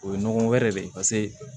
O ye ɲɔgɔn wɛrɛ de ye paseke